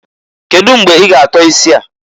Kedu mgbe i ga atọ isi a?